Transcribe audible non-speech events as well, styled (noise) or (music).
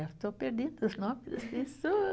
Eu estou perdendo os nomes das (unintelligible)